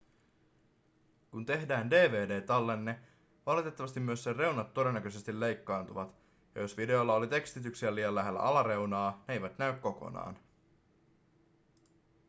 kun tehdään dvd-tallenne valitettavasti myös sen reunat todennäköisesti leikkaantuvat ja jos videolla oli tekstityksiä liian lähellä alareunaa ne eivät näy kokonaan